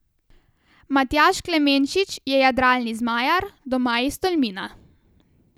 Matjaž Klemenčič je jadralni zmajar doma iz Tolmina.